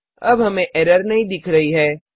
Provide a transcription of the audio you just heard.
अब हमें एरर नहीं दिख रही है